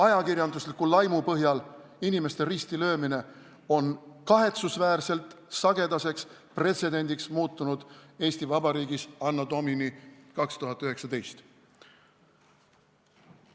Ajakirjandusliku laimu põhjal inimeste ristilöömine on Eesti Vabariigis anno Domini 2019 kahetsusväärselt sagedaseks muutunud.